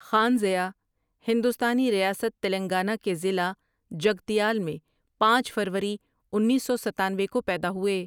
خان ضیاء ہندوستانی ریاست تلنگانہ کے ضلع جگتیال میں پانچ فروری انیس سو ستانوے کو پیدا ہوۓ ۔